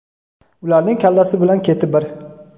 Ularning kallasi bilan keti bir.